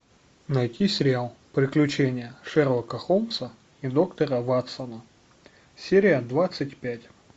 найти сериал приключения шерлока холмса и доктора ватсона серия двадцать пять